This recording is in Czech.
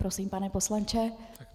Prosím, pane poslanče.